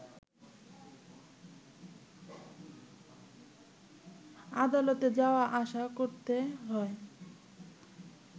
আদালতে যাওয়া আসা করতে হয়